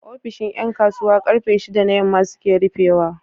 ofishin Yan kasuwa karfe shida na yamma suke rufe wa